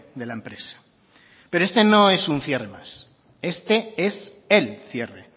de la empresa pero este no es un cierre más este es el cierre